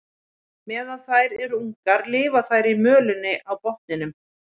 Meðan þær eru ungar lifa þær í mölinni á botninum.